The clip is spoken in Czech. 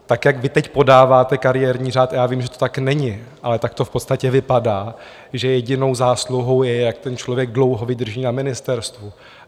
Tak jak vy teď podáváte kariérní řád, a já vím, že to tak není, ale tak to v podstatě vypadá, že jedinou zásluhou je, jak ten člověk dlouho vydrží na ministerstvu.